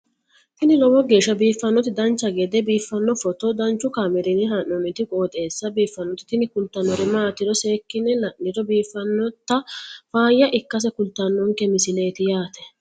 tini lowo geeshsha biiffannoti dancha gede biiffanno footo danchu kaameerinni haa'noonniti qooxeessa biiffannoti tini kultannori maatiro seekkine la'niro biiffannota faayya ikkase kultannoke misileeti yaate